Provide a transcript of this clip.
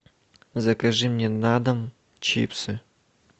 закажи мне на дом чипсы